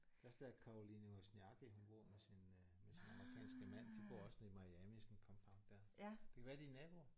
Det er også der Caroline Wozniacki hun bor med sin øh med sin amerikanske mand de bor også nede i Miami sådan et compound der. Det kan være de er naboer